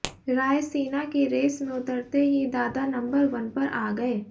रायसीना की रेस में उतरते ही दादा नंबर वन पर आ गए